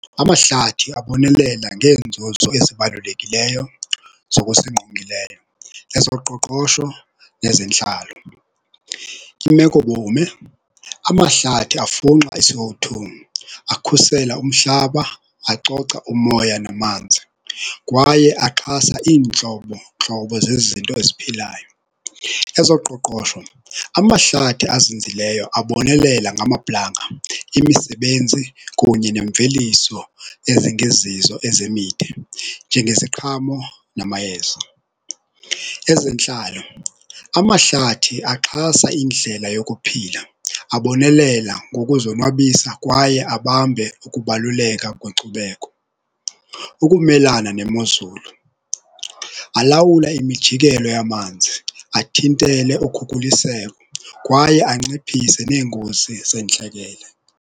Amahlathi abonelela ngeenzuzo ezibalulekileyo zokusingqongileyo, ezoqoqosho nezentlalo. Imekobume, amahlathi afunxa iC O two, akhusela umhlaba, acoca umoya namanzi kwaye axhasa iintlobontlobo zezinto eziphilayo. Ezoqoqosho, amahlathi azinzileyo abonelela ngamaplanga, imisebenzi kunye nemveliso ezingezizo ezemide njengeziqhamo namayeza. Ezentlalo, amahlathi axhasa indlela yokuphila abonelela ngokuzonwabisa kwaye abambe ukubaluleka kweenkcubeko. Ukumelana nemozulu, alawula imijikelo yamanzi athintele ukhukhuliseko kwaye anciphise neengozi zentlekele.